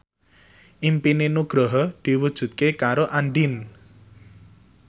impine Nugroho diwujudke karo Andien